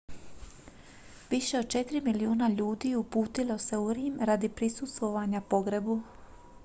više od četiri milijuna ljudi uputilo se u rim radi prisustvovanja pogrebu